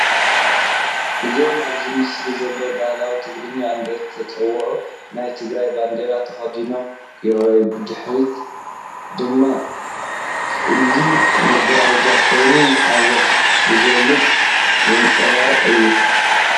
እዞም ኣብዚ ምስሊ ዘለዉ ባህሊ ትግራይ እንዳተጻወቱ ናይ ትግራይ ባንዴራ ተኸዲኖም የርእይ። ብድሕሪኦም ድማ ጽሊም መጋረጃ ኮይኑ ንሓዘን ዝገልጽ ( ዘንጸባርቕ) እዩ።